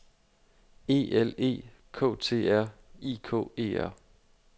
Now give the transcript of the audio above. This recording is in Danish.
E L E K T R I K E R